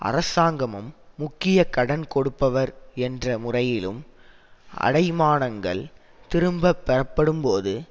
அரசாங்கமும் முக்கிய கடன் கொடுப்பவர் என்ற முறையிலும் அடைமானங்கள் திரும்ப பெறப்படும்போது